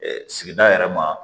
sigida yɛrɛ ma